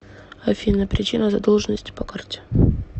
афина причина задолженности по карте